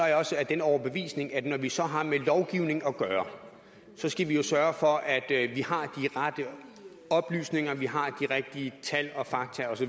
jeg også af den overbevisning at når vi så har med lovgivning at gøre skal vi sørge for at vi har de rette oplysninger at vi har de rigtige tal og fakta osv